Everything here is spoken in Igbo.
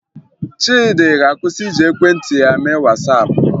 Chiịdị ga-akwụsị iji ekwentị ya mee Wasaapụ